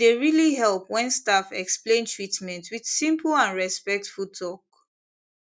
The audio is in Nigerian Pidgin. e dey really help when staff explain treatment with simple and respectful talk